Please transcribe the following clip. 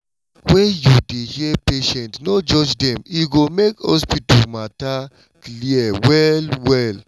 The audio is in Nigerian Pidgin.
when you dey hear patients no judge dem e go make hospital matter clear well well